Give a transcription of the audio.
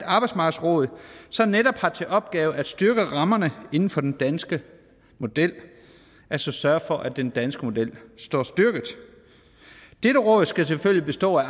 arbejdsmarkedsråd som netop har til opgave at styrke rammerne inden for den danske model altså sørge for at den danske model står styrket dette råd skal selvfølgelig bestå af